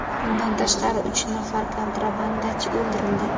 Bundan tashqari, uch nafar kontrabandachi o‘ldirildi.